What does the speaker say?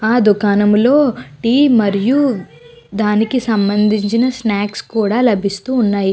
ఆ దుకాణంలో టీ మరియు దానికి సంబంధించిన స్నాక్స్ కూడా లభిస్తూ ఉన్నాయి.